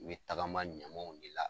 I be tagama ɲamanw de la.